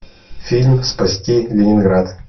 фильм спасти ленинград